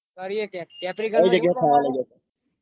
કરીએ ક્યાંક peperica